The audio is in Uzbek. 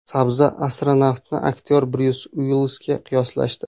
Sabzi-astronavtni aktyor Bryus Uillisga qiyoslashdi .